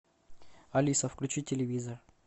алиса включи телевизор